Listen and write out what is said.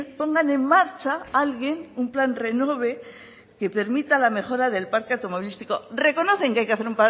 pongan en marcha alguien un plan renove que permita la mejora del parque automovilístico reconocen que hay que hacer